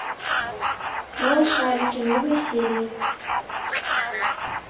малышарики новые серии